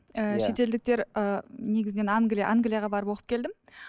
шетелдіктер ііі негізінен англия англияға барып оқып келдім